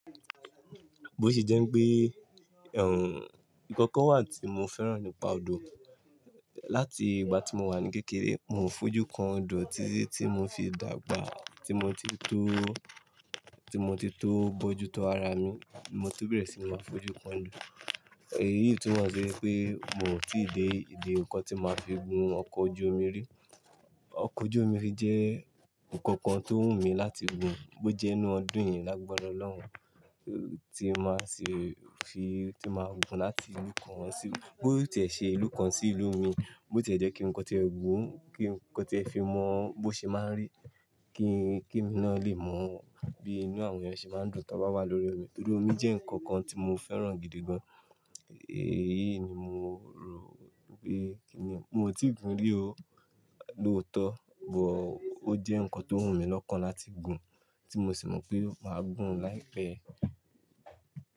Bó ṣe jẹ́ n pé, ẹ̀ n, nǹkan kan wà tí mo fẹ́ràn nípa odò. Láti ìgbà tí mo wà ní kékeré, mo fojú kan odò, títí tí mo fi dàgbà. Tí mo ti tó, tí mo ti tó bójú tó ara mi, mo ti bẹ̀rẹ̀ sí máa fojú kan odò. Èyí túmọ sí wípé mi ò tí ì dé ìdí ǹkan tí máa fi gùn ọkọ̀ ojú omi rí. Ọkọ̀ ojú omi jẹ́ ǹkan kan tó wù mí láti gùn. Bó jẹ́ inú ọdún yìí lágbàrá Ọlọ́run, tí máa ṣe fi, tí máa gùn láti inú kan sí-- bó tí ẹ ṣe ìlú kan sí ìlú òmí, bó tí ẹ jẹ́ kí ǹkan tí ẹ gùn, kí ǹkan tí ẹ fi mọ́ ọ́n, bó ṣe máa ń rí, kí, kí emi náà lè mọ bí inú àwọn èèyàn ṣe máa ń dùn tí wọ́n bá wà lórí omi. Nítorí omi jẹ́ ǹkan kan tí mo fẹ́ràn gidi gan. Èyí ni mo rò wípé kí ni, mo ti gùn rí ó lóòótọ́, bọ ó jẹ́ ǹkan tó wù mí lọ́kàn láti gùn, tí mo sì mọ̀ pé màá gùn láìpẹ́.